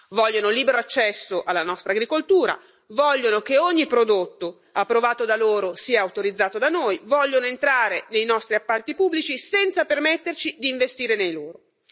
Vogliono libero accesso alla nostra agricoltura, vogliono che ogni prodotto approvato da loro sia autorizzato da noi, vogliono entrare nei nostri appalti pubblici senza permetterci di investire nei loro.